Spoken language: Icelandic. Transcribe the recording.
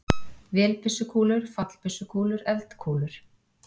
Vélbyssukúlur, fallbyssukúlur, eldkúlur.